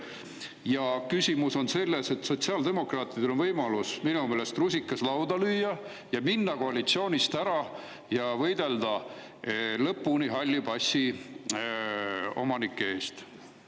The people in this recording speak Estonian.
Ja küsimus on selles, et sotsiaaldemokraatidel on minu meelest võimalus rusikaga lauale lüüa, minna koalitsioonist ära ja võidelda lõpuni halli passi omanike eest.